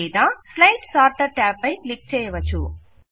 లేదా slide sorter tab పై click చేయవచ్చు